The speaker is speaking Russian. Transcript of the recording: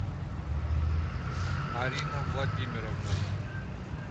арина владимировна